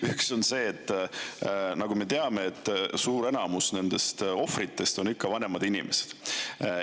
Üks on see, et nagu me teame, suur enamus nendest ohvritest on vanemad inimesed.